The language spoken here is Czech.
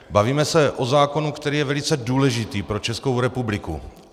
Bavíme se o zákonu, který je velice důležitý pro Českou republiku.